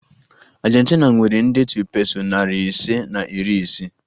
Argentina nwere ndetu peso nari ise na iri isii